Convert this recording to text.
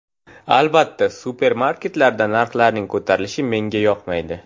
Albatta supermarketlarda narxlarning ko‘tarilishi menga yoqmaydi.